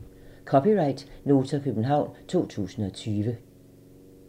(c) Nota, København 2020